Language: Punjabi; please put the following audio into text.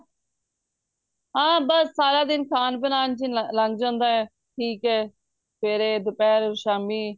ਹਾਂ ਬੱਸ ਸਾਰਾ ਦਿਨ ਖਾਣ ਬਨਾਣ ਚ ਈ ਲੰਗ ਜਾਂਦਾ ਏ ਠੀਕ ਏ ਸਵੇਰੇ ਦੁਪਹਿਰ ਸ਼ਾਮੀ